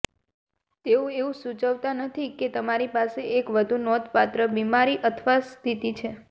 તેઓ એવું સૂચવતા નથી કે તમારી પાસે એક વધુ નોંધપાત્ર બીમારી અથવા સ્થિતિ છે